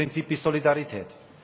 Das erste Prinzip ist Solidarität.